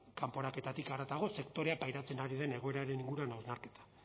kanporaketarik haratago sektoreak pairatzen ari den egoeraren inguruan hausnarketa